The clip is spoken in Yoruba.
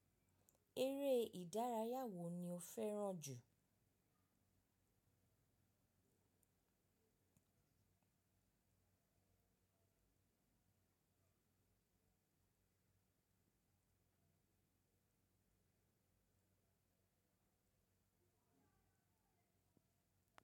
Eré ìdárayá wo ni o fẹràn jù?